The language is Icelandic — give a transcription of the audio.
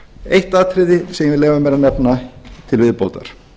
eitt atriði sem ég vil leyfa mér að nefna til viðbótar